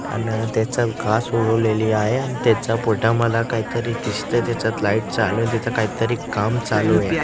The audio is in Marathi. आणि त्याच्यात घास उगवलेली आहे त्याचा फोटो मला काहीतरी दिसतंय त्याच्यात लाईट चालू आहे तिथं काहीतरी काम चालू आहे.